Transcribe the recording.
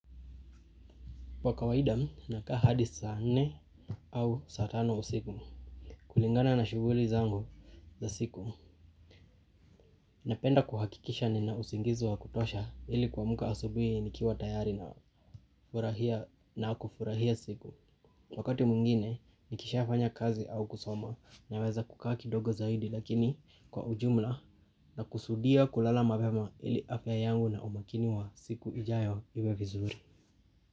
Kwa kawaida nakaa hadi saa nne au sa tano usiku kulingana na shughuli zangu za siku. Napenda kuhakikisha nina usingizu wa kutosha ili kuamka asubuhi nikiwa tayari na kufurahia siku. Wakati mwingine nikisha fanya kazi au kusoma na weza kukaa kidogo zaidi lakini kwa ujumla na kusudia kulala mapema ili afya yangu na umakini wa siku ijayo iwe vizuri.